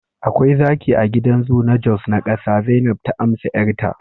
akwai zaki a gidan zoo na jos na kasa, zainab ta amsa 'yarta